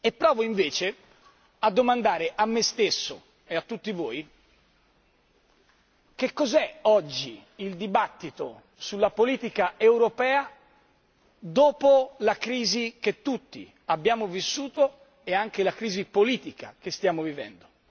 Provo invece a domandare a me stesso e a tutti voi che cos'è oggi il dibattito sulla politica europea dopo la crisi che tutti abbiamo vissuto e anche la crisi politica che stiamo vivendo.